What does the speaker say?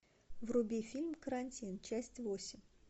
вруби фильм карантин часть восемь